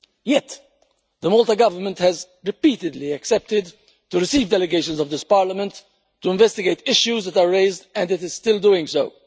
Yet the Maltese Government has repeatedly agreed to receive delegations of this Parliament to investigate issues that are raised and it is still doing so.